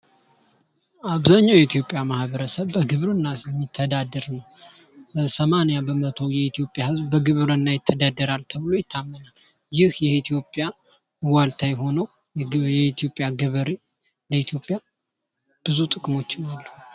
አብዛኛው የኢትዮጵያ ማህበረሰብ በግብርና ስር የሚተዳደር ነው ። ሰማንያ በመቶ የሚሆነው የኢትዮጵያ ህዝብ በግብርና ይተዳደራል ተብሎ ይታመናል ። ይህ የኢትዮጵያ ዋልታ የሆነው የኢትዮጵያ ገበሬ ለኢትዮጵያ ብዙ ጥቅሞች አለው ።